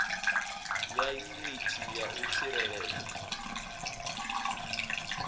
ya yuniti ya u tsireledza